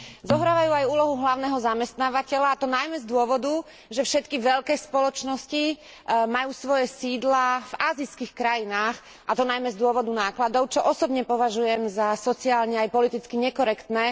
Zohrávajú aj úlohu hlavného zamestnávateľa, a to najmä z dôvodu, že všetky veľké spoločnosti majú svoje sídla v ázijských krajinách, a to najmä z dôvodu nákladov, čo osobne považujem za sociálne aj politicky nekorektné.